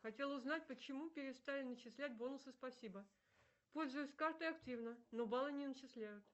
хотела узнать почему перестали начислять бонусы спасибо пользуюсь картой активно но баллы не начисляют